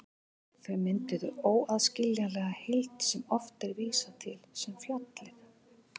Þau mynduðu óaðskiljanlega heild sem oft er vísað til sem fjallið.